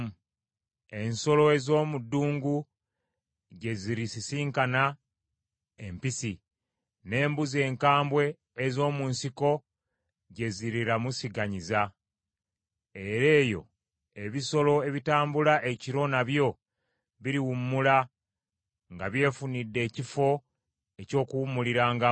Ensolo ez’omu ddungu gye zirisisinkana empisi, n’embuzi enkambwe ez’omu nsiko gye ziriramusiganyiza. Era eyo ebisolo ebitambula ekiro nabyo biriwummula nga byefunidde ekifo eky’okuwummulirangamu.